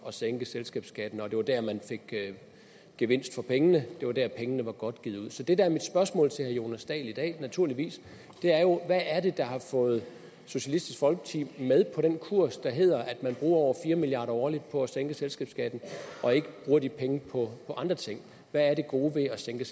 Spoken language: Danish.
at sænke selskabsskatten det var der man fik gevinst for pengene det var der pengene var godt givet ud så det der er mit spørgsmål til herre jonas dahl i dag er naturligvis hvad er det der har fået socialistisk folkeparti med på den kurs der hedder at man bruger over fire milliard kroner årligt på at sænke selskabsskatten og ikke bruger de penge på andre ting hvad er det gode ved at sænke